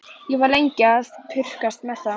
Ég var lengi að pukrast með þá.